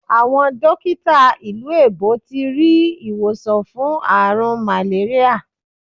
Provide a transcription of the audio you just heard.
Awọn dotika ilu èbó ti ri iwosan fun aarun màléríyà